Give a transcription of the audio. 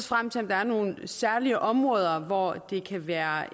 frem til om der er nogle særlige områder hvor det kan være